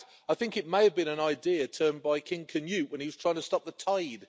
In fact, I think it may have been an idea invented by King Canute when he was trying to stop the tide.